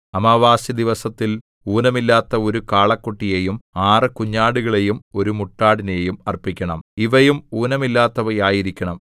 അമാവാസിദിവസത്തിൽ ഊനമില്ലാത്ത ഒരു കാളക്കുട്ടിയെയും ആറ് കുഞ്ഞാടുകളെയും ഒരു മുട്ടാടിനെയും അർപ്പിക്കണം ഇവയും ഊനമില്ലാത്തവ ആയിരിക്കണം